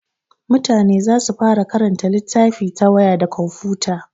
Mutane za su fara karanta littafi ta waya da komfuta.